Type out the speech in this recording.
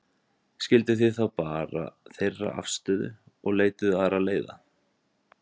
Skilduð þið þá bara þeirra afstöðu og leituðuð aðra leiða?